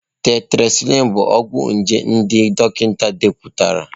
Tetracịclịn bụ ọgwụ nje nke ndị dọkịta depụtara.